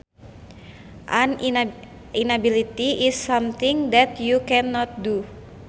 An inability is something that you can not do